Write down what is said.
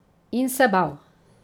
In se bal.